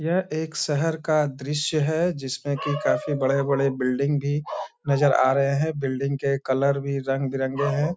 यह एक शहर का दृश्य है जिसमें की काफी बड़े-बड़े बिल्डिंग भी नजर आ रहें हैं। बिल्डिंग के कलर भी रंग-बिरंगे हैं।